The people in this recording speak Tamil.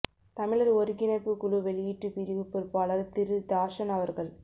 தமிழர் ஒருங்கிணைப்பு குழு வெளியீட்டு பிரிவு பொறுப்பாளர் திரு தாஷன் அவர்கள்